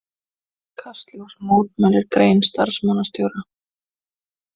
Kastljós mótmælir grein starfsmannastjóra